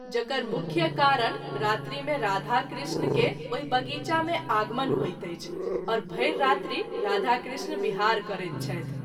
जकर मुख्य कारण रात्रि मे राधा कृष्ण के ओहि बगीचा मे आगमन होइत अछि आओर भरि रात्रि राधा कृष्ण बिहार करैत छथि।